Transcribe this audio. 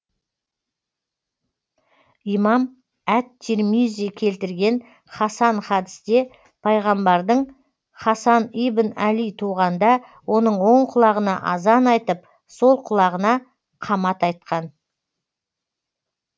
имам әт тирмизи келтірген хасан хадсте пайғамбардың хасан ибн әли туғанда оның оң құлағына азан айтып сол құлағына қамат айтқан